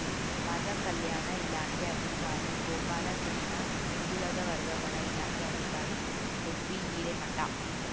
ಸಮಾಜ ಕಲ್ಯಾಣ ಇಲಾಖೆ ಅಧಿಕಾರಿ ಗೋಪಾಲಕೃಷ್ಣ ಹಿಂದುಳಿದ ವರ್ಗಗಳ ಇಲಾಖೆ ಅಧಿಕಾರಿ ಎಸ್ಬಿ ಹಿರೇಮಠ